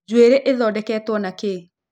njuĩrĩ ithondeketwo na kĩĩ